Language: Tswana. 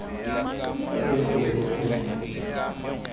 fa re gorogile kwao re